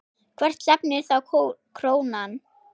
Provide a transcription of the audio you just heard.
Hvert stefnir þá krónan?